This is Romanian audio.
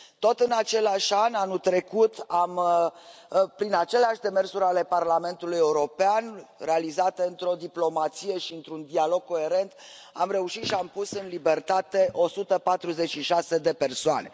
Tot în același an, anul trecut, prin aceleași demersuri ale Parlamentului European, realizate într o diplomație și într un dialog coerent, am reușit și am pus în libertate 146 de persoane.